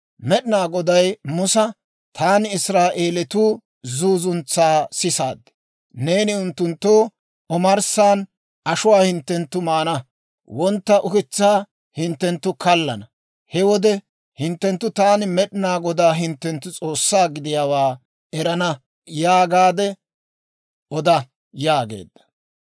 Med'inaa Goday Musa, «Taani Israa'eelatuu zuuzuntsaa sisaad; neeni unttunttoo, ‹Omarssan ashuwaa hinttenttu maana; wontta ukitsaa hinttenttu kallana; he wode hinttenttu taani Med'inaa Godaa hinttenttu S'oossaa gidiyaawaa erana› yaagaadde oda» yaageedda.